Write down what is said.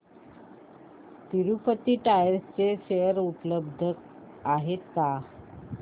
Tirupati tyres चे share उपलब्ध आहेत का